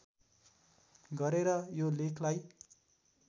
गरेर यो लेखलाई